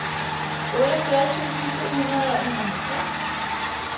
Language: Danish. otteogfyrre tusind to hundrede og enoghalvtreds